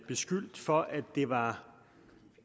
beskyldt for at det var